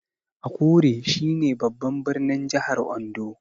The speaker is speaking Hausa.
Akure shi ne babban birnin jahar Ondo